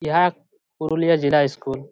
ইহা এক পুরুলিয়া জেলা ইস্কুল ।